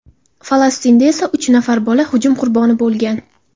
Falastinda esa uch nafar bola hujum qurboni bo‘lgan.